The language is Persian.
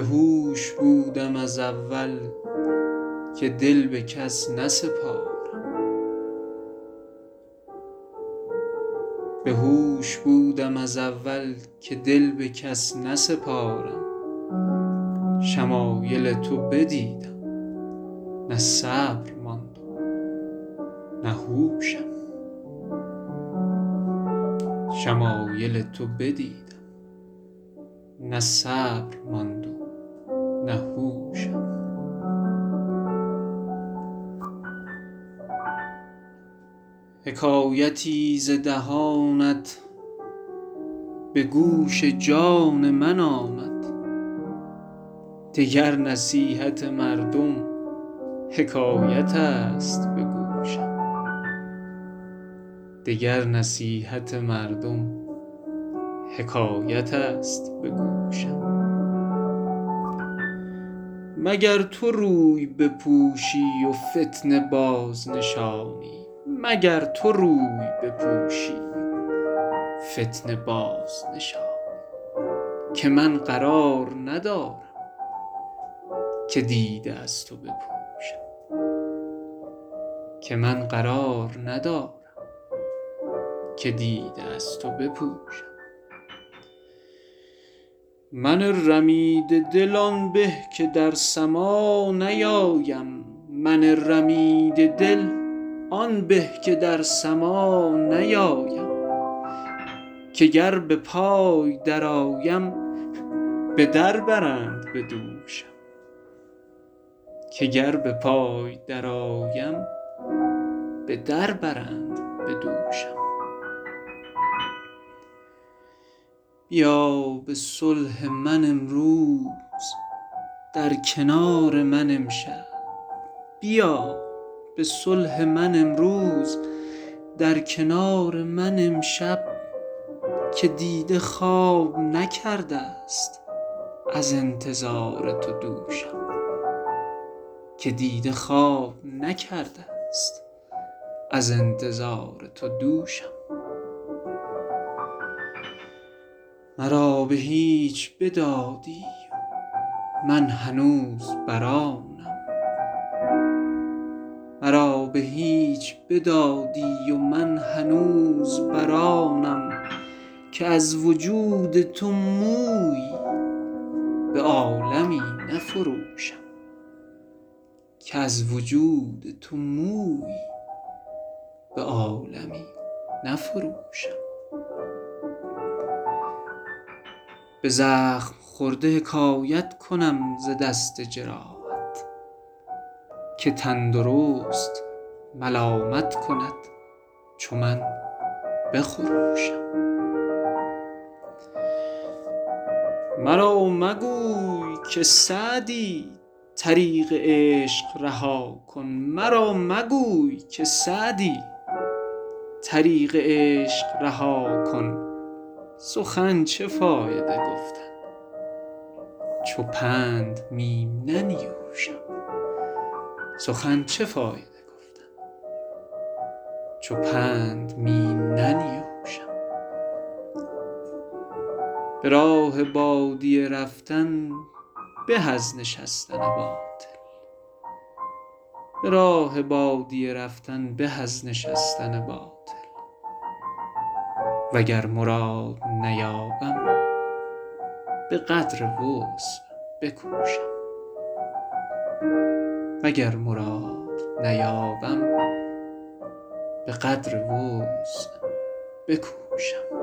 بهوش بودم از اول که دل به کس نسپارم شمایل تو بدیدم نه صبر ماند و نه هوشم حکایتی ز دهانت به گوش جان من آمد دگر نصیحت مردم حکایت است به گوشم مگر تو روی بپوشی و فتنه بازنشانی که من قرار ندارم که دیده از تو بپوشم من رمیده دل آن به که در سماع نیایم که گر به پای درآیم به در برند به دوشم بیا به صلح من امروز در کنار من امشب که دیده خواب نکرده ست از انتظار تو دوشم مرا به هیچ بدادی و من هنوز بر آنم که از وجود تو مویی به عالمی نفروشم به زخم خورده حکایت کنم ز دست جراحت که تندرست ملامت کند چو من بخروشم مرا مگوی که سعدی طریق عشق رها کن سخن چه فایده گفتن چو پند می ننیوشم به راه بادیه رفتن به از نشستن باطل وگر مراد نیابم به قدر وسع بکوشم